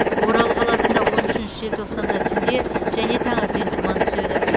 орал қаласында он үшінші желтоқсанда түнде және таңертең тұман түседі